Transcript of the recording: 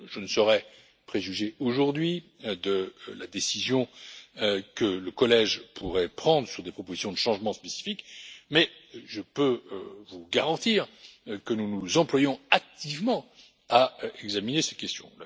Je ne saurais préjuger, aujourd'hui, de la décision que le Collège pourrait prendre sur des propositions de changement spécifiques, mais je peux vous garantir que nous nous employons activement à examiner ces questions.